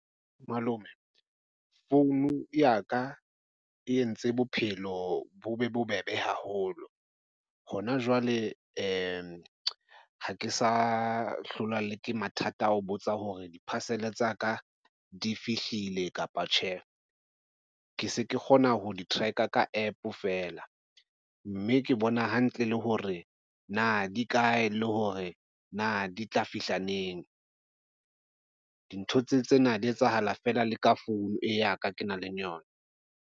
Malome founu ya ka e entse bophelo bo be bobebe haholo hona jwale ha ke sa hlolwa le ke mathata a ho botsa hore di-parcel-e tsa ka di fihlile kapa tjhe. Ke se ke kgona ho di-track-a ka app fela mme ke bona hantle le hore na di kae le hore na di tla fihla neng. Dintho tsena di etsahala fela le ka founu e ya ka ke nang le yona.